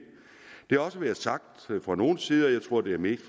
er også blevet sagt fra nogens side jeg tror det mest